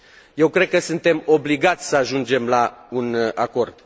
Eu cred că suntem obligați să ajungem la un acord.